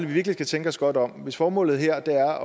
vi virkelig skal tænke os godt om hvis formålet her er